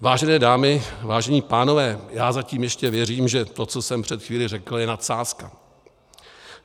Vážené dámy, vážení pánové, já zatím ještě věřím, že to, co jsem před chvílí řekl, je nadsázka.